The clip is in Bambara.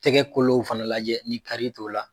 Tɛgɛ kolow fana lajɛ ni kari t'o la.